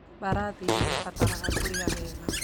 Mbarathi nĩ ibataraga kũrĩa wega